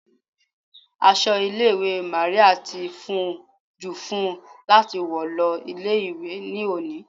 Aṣọ ilé ìwé Màríà ti fún jù fun láti wọ̀ lọ ilé ìwé ní òní.